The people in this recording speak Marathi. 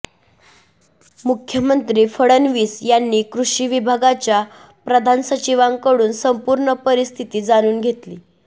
मुख्यमंत्री फडणवीस यांनी कृषी विभागाच्या प्रधान सचिवांकडून संपूर्ण परिस्थिती जाणून घेतली